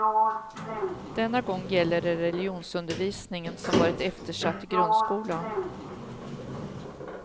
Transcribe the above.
Denna gång gäller det religionsundervisningen, som varit eftersatt i grundskolan.